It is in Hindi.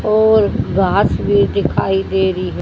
और घास भी दिखाई दे री है।